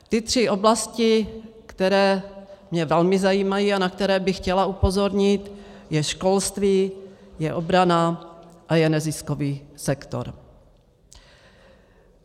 Ty tři oblasti, které mě velmi zajímají a na které bych chtěla upozornit, je školství, je obrana a je neziskový sektor.